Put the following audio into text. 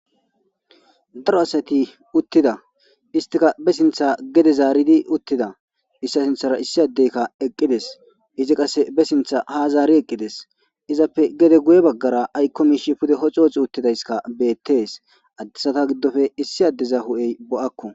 daro asati uttida istika be sintha gede zaaridi uttida issa sinthara issi addeykka eqqides izi qase be sintha ha zaari eqqides izappe gede guye baggara aykko miishi pude hoxi uttidayskka beettees addesata giddofe issi addeza hu7ey bo7akku